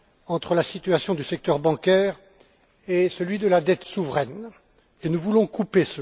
entre la situation du secteur bancaire et la dette souveraine lien que nous voulons couper.